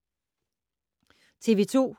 TV 2